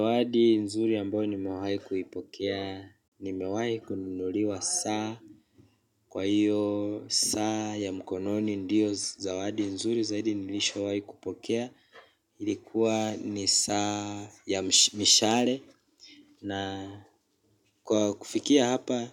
Zawadi nzuri ambayo nimewahi kuipokea, nimewahi kununuliwa saa kwa hiyo saa ya mkononi ndiyo zawadi nzuri zaidi nilishawahi kupokea ilikuwa ni saa ya mishale na kwa kufikia hapa